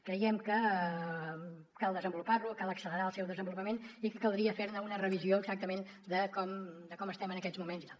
creiem que cal desenvolupar lo cal accelerar el seu desenvolupament i que caldria fer ne una revisió exactament de com estem en aquests moments i tal